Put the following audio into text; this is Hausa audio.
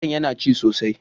Zarton yana ci sosai.